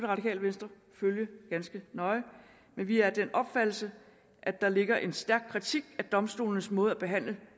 radikale venstre følge ganske nøje men vi er af den opfattelse at der ligger en stærk kritik af domstolenes måde at behandle